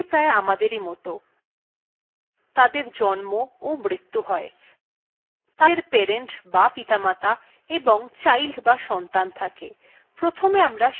processesগুলি প্রায় আমাদের মতই তাদের জন্ম ও মৃতু হয় তাদের parent die পিতামাতা এবং child die সন্তান থাকে